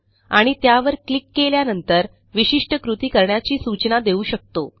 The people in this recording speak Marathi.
आणि त्यावर क्लिक केल्यानंतर विशिष्ट कृती करण्याची सूचना देऊ शकतो